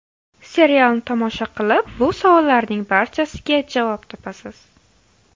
Serialni tomosha qilib, bu savollarning barchasiga javob topasiz.